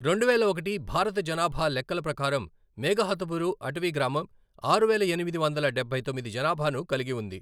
రెండువేల ఒకటి భారత జనాభా లెక్కల ప్రకారం మేఘహతుబురు అటవీ గ్రామం ఆరువేల ఎనిమిది వందల డబ్బై తొమ్మిది జనాభాను కలిగి ఉంది.